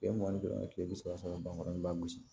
Kile mugan ni duuru ma kile bi saba sɔrɔ bankɔrɔ i b'a gosi